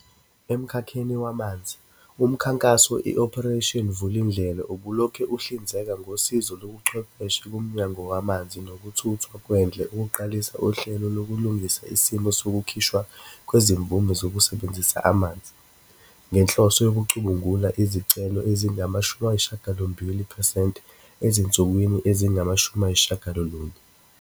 Emkhakheni wamanzi, umkhankaso i-Operation Vulindlela ubulokhu uhlinzeka ngosizo lobuchwepheshe kuMnyango Wamanzi Nokuthuthwa Kwendle ukuqalisa uhlelo lokulungisa isimo sokukhishwa kwezimvume zokusebenzisa amanzi, ngenhloso yokucubungula izicelo ezingama shumi ayisishagalombili phesenti ezinsukwini ezingama shumi ayisishagalolunye.